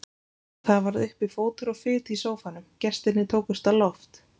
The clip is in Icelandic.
Það varð uppi fótur og fit í sófanum, gestirnir tókust á loft.